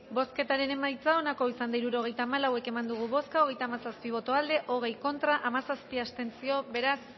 bozketaren emaitza onako izan da hirurogeita hamalau eman dugu bozka hogeita hamazazpi boto aldekoa hogei contra hamazazpi abstentzio beraz